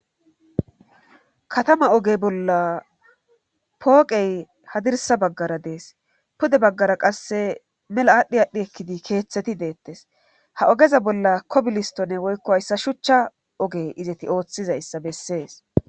Katama ogey bolla pooqey hadirsa baggara dees pude baggara qasse mela aadhdhi aadhdhi ekkidi keeththeti deettes ha ogeza bolla kobilistone woykko hayssa shuchcha oge izeti ooththizayssa bessees